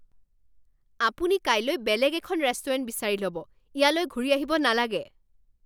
আপুনি কাইলৈ বেলেগ এখন ৰেষ্টুৰেণ্ট বিচাৰি ল'ব। ইয়ালৈ ঘূৰি অহিব নালাগে